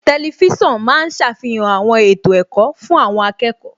Tẹlifísàn ma ń ṣàfihàn àwọn ètò ẹ̀kọ́ fún àwọn akẹ́kọ̀ọ́